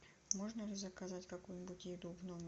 можно ли заказать какую нибудь еду в номер